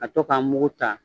A to k'a mugu ta